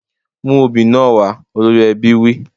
Mú obì náà wá! Olórí ẹbí wí.